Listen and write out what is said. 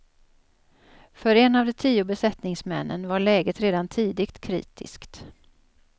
För en av de tio besättningsmännen var läget redan tidigt kritiskt.